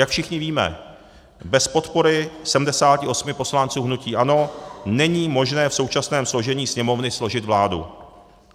Jak všichni víme, bez podpory 78 poslanců hnutí ANO není možné v současném složení Sněmovny složit vládu.